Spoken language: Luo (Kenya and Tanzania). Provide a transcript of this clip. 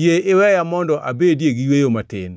Yie iweya mondo abedie gi yweyo matin,